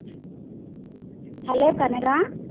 Hello Kanaka